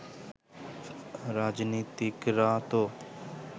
রাজনীতিকরা তো